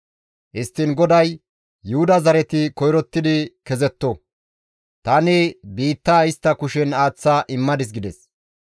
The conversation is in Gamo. Histtiin GODAY, «Yuhuda zareti koyrotti kezetto; tani biittaa istta kushen aaththa immadis» gides.